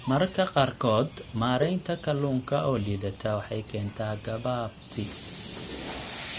Mararka qaarkood, maaraynta kalluunka oo liidata waxay keentaa gabaabsi.